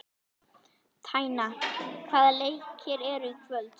Tanya, hvaða leikir eru í kvöld?